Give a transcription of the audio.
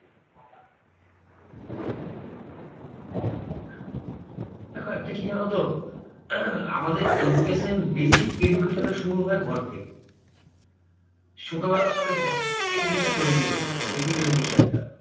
দেখো একটা কি জানতো? আমাদের education basic education শুরু হয় ঘর থেকে। ছোটবেলায় আমাদের ঘর থেকে এই জিনিসটা তৈরী হতো basic education টা।